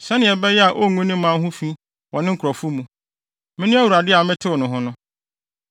sɛnea ɛbɛyɛ a ongu ne mma ho fi wɔ ne nkurɔfo mu. Mene Awurade a metew ne ho no.’ ”